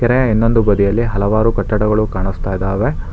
ಮತ್ತೆ ಇನ್ನೊಂದು ಬದಿಯಲ್ಲಿ ಹಲವಾರು ಕಟ್ಟಡಗಳು ಕಾಣಿಸ್ತಾ ಇದಾವೆ.